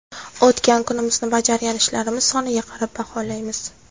O‘tgan kunimizni bajargan ishlarimiz soniga qarab baholaymiz.